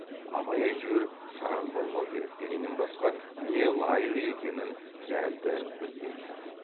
абай әйтеуір сараң болмау керек дегеннен басқа не лайық екенін дәлді білмейтін